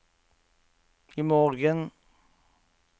imorgen